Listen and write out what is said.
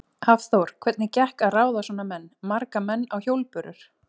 Hafþór: Hvernig gekk að ráða svona menn, marga menn á hjólbörur?